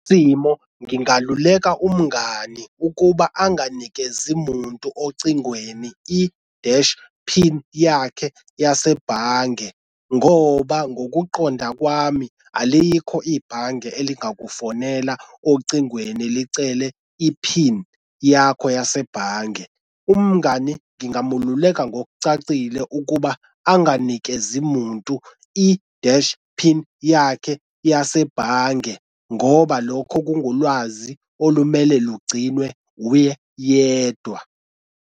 Isimo ngingaluleka umngani ukuba anganikezi muntu ocingweni i-dash pin yakhe yasebhange ngoba ngokuqonda kwami alikho ibhange elingakakufonela ocingweni licele i-pin yakho yasebhange. Umngani ngingamululeka ngokucacile ukuba anganikezi muntu i-dash pin yakhe yasebhange ngoba lokho kungulwazi olumele lugciniwe uye yedwa.